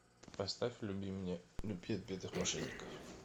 поставь люби меня люби отпетых мошенников